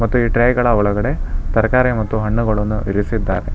ಮತ್ತು ಈ ಟ್ರೇ ಗಳ ಒಳಗಡೆ ತರಕಾರಿ ಮತ್ತು ಹಣ್ಣುಗಳುನ್ನು ಇರಿಸಿದ್ದಾರೆ.